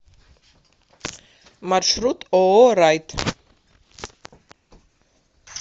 маршрут ооо райт